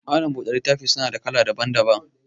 Malam buɗe littafi suna da kala daban daban